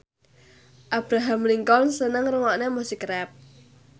Abraham Lincoln seneng ngrungokne musik rap